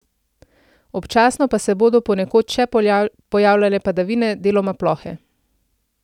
Občasno pa se bodo ponekod še pojavljale padavine, deloma plohe.